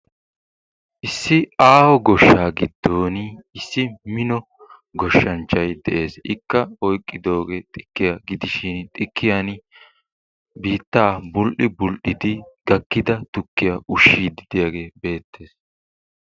issi aaho goshshaa giddon issi mino goshshanchchay des, ikka oyqqidoy xikkiya gidishin biittaa bul'i bul'idi gakkida tukkiya ushshiyagee beettees.